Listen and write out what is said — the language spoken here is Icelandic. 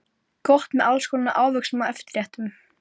Hann stirðnaði bókstaflega í sæti sínu.